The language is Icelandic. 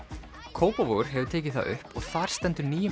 Kópavogur hefur tekið það upp og þar stendur nýjum